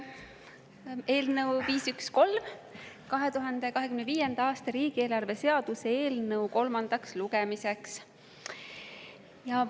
Eelnõu 513, 2025. aasta riigieelarve seaduse eelnõu kolmas lugemine.